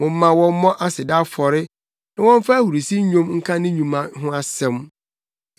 Momma wɔmmɔ aseda afɔre na wɔmfa ahurusi nnwom nka ne nnwuma ho asɛm.